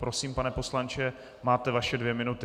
Prosím, pane poslanče, máte vaše dvě minuty.